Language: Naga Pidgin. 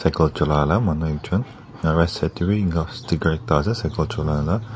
Coat chula la manu ek jun ena right side dae bhi enka sticker ekta ase cycle chula la.